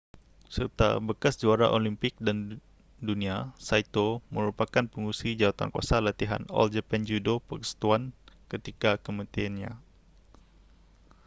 serta bekas juara olimpik dan dunia saito merupakan pengerusi jawatankuasa latihan all japan judo persekutuan ketika kematiannya